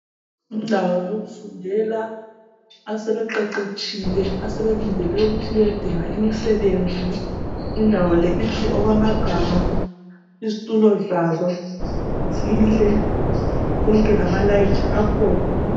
Indawo yokufundela. Asebeqeqetshile. Asebelindele ukuthi bayedinga umsebenzi. Indawo le inhle okwamagama. Izitulo zayo. Inhle! Konke lamalayithi akhona.